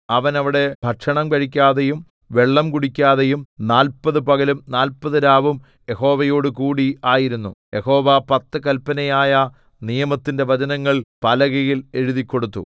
അവൻ അവിടെ ഭക്ഷണം കഴിക്കാതെയും വെള്ളം കുടിക്കാതെയും നാല്പത് പകലും നാല്പത് രാവും യഹോവയോടുകൂടി ആയിരുന്നു യഹോവ പത്ത് കല്പനയായ നിയമത്തിന്റെ വചനങ്ങൾ പലകയിൽ എഴുതിക്കൊടുത്തു